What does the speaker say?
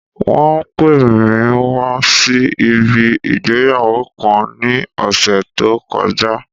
Wón pè mí wá sí ibi ìgbéyàwó kan ní ọ̀sẹ̀ tó kọjá.